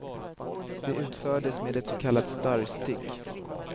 De utfördes med ett så kallat starrstick.